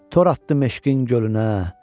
Tor atdım eşqin gölünə.